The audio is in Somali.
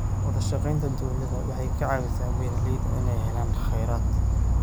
Wadashaqeynta dowladda waxay ka caawisaa beeralayda inay helaan kheyraad.